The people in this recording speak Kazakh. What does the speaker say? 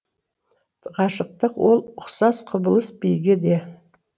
ғашықтық ол ұқсас құбылыс биге де